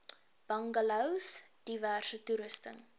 bungalows diverse toerusting